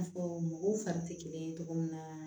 N'a fɔ mɔgɔw fari tɛ kelen ye cogo min na